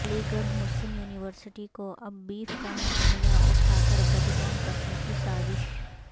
علی گڑھ Muslim University کو اب بیف کا معاملہ اٹھاکر بدنام کرنے کی سازش